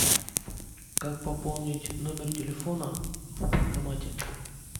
как пополнить номер телефона в банкомате